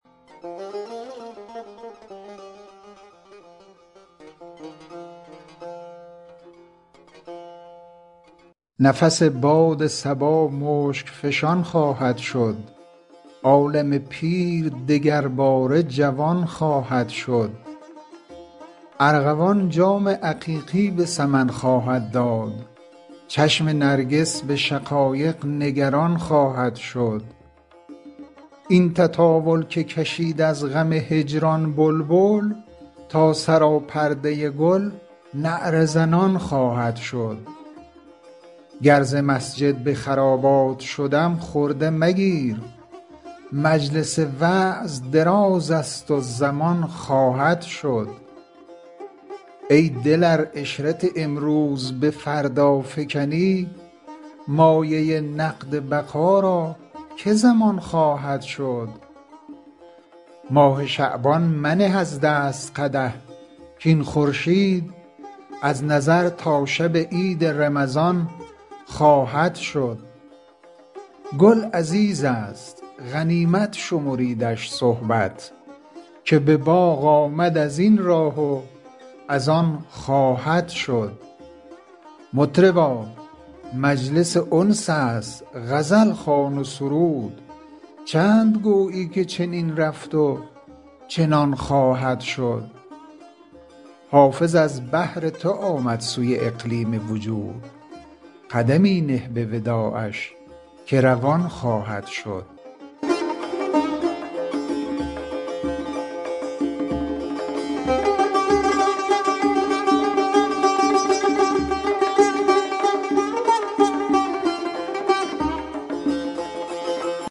نفس باد صبا مشک فشان خواهد شد عالم پیر دگرباره جوان خواهد شد ارغوان جام عقیقی به سمن خواهد داد چشم نرگس به شقایق نگران خواهد شد این تطاول که کشید از غم هجران بلبل تا سراپرده گل نعره زنان خواهد شد گر ز مسجد به خرابات شدم خرده مگیر مجلس وعظ دراز است و زمان خواهد شد ای دل ار عشرت امروز به فردا فکنی مایه نقد بقا را که ضمان خواهد شد ماه شعبان منه از دست قدح کاین خورشید از نظر تا شب عید رمضان خواهد شد گل عزیز است غنیمت شمریدش صحبت که به باغ آمد از این راه و از آن خواهد شد مطربا مجلس انس است غزل خوان و سرود چند گویی که چنین رفت و چنان خواهد شد حافظ از بهر تو آمد سوی اقلیم وجود قدمی نه به وداعش که روان خواهد شد